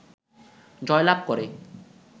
জয়লাভ করে